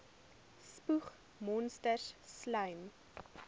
spoeg monsters slym